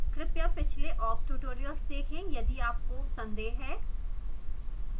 कृपया पिछले awk tutorials देखें यदि आपको को संदेह है